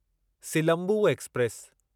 Silambu express